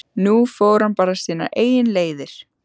Nú fór hann bara sínar eigin leiðir.